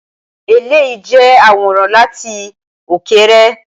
Eléyìí jẹ́ àwòrán láti òkèèrè.